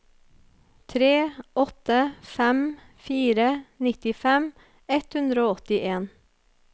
tre åtte fem fire nittifem ett hundre og åttien